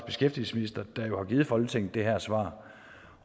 beskæftigelsesminister har givet folketinget det her svar